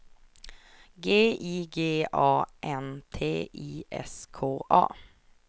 G I G A N T I S K A